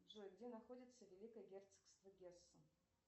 джой где находится великое герцогство гессен